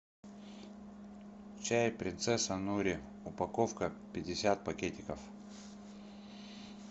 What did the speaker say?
чай принцесса нури упаковка пятьдесят пакетиков